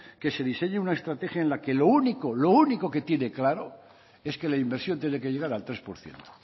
que se diseñe una estrategia en la que lo único que tiene claro es que la inversión tiene que llegar al tres por ciento